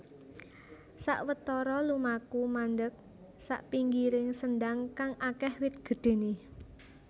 Sawetoro lumaku mandeg sapinggiring sendang kang akeh wit gedhene